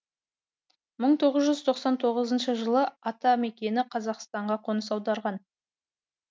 мың тоғыз жүз тоқсан тоғызыншы жылы атамекені қазақстанға қоныс аударған